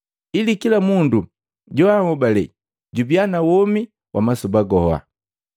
ili kila mundu joanhobale jubiya na womi wa masoba goha.